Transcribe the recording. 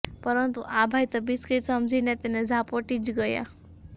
પરંતુ આ ભાઈ તો બિસ્કિટ સમજીને તેને ઝાપોટી જ ગયા